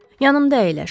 Yanımda əyləş.